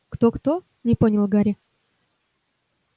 кто-кто не понял гарри